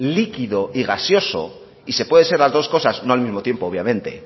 líquido y gaseoso y se puede ser las dos cosas no al mismo tiempo obviamente